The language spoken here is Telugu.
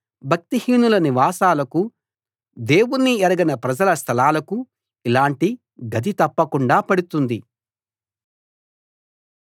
భక్తిహీనుల నివాసాలకు దేవుణ్ణి ఎరగని ప్రజల స్థలాలకు ఇలాంటి గతి తప్పకుండా పడుతుంది